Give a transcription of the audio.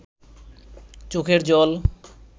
চোখের জল